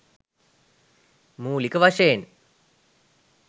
මූළික වශයෙන්